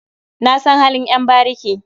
Na san halin ƴan bariki.